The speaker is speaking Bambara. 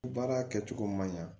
Baara kɛcogo man ɲa